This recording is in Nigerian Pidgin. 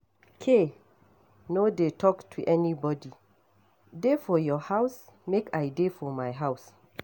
K no dey talk to anybody. Dey for your house make I dey for my house.